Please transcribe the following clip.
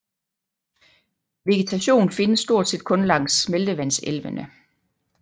Vegetation findes stort set kun langs smeltevandselvene